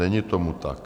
Není tomu tak.